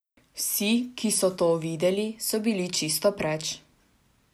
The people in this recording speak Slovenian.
Vsi, ki so to videli, so bili čisto preč.